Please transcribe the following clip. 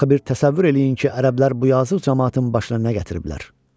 Axı bir təsəvvür eləyin ki, ərəblər bu yazıq camaatın başına nə gətiriblər.